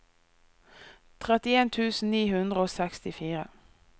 trettien tusen ni hundre og sekstifire